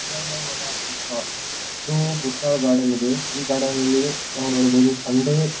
ಉದ್ಯಾನವರ ಬುತ್ಲ್ ಇದು ಬುತ್ತಳ ಗಾರ್ಡನ್ ಇದೆ. ಈ ಗಾರ್ಡನ್ ನಲ್ಲಿ ನಾವ್ ನೋಡಬಹುದು ಸಂಡೆ --